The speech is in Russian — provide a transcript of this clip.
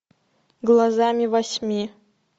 глазами восьми